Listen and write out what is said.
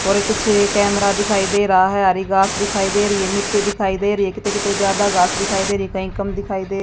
और ये कुछ कैमरा दिखाई दे रहा है हरी घास दिखाई दे रही है मिट्टी दिखाई दे रही है किते किते ज्यादा घास दिखाई दे रही हैं कहीं कम दिखाई दे --